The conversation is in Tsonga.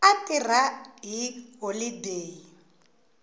a tirha hi holodeyi u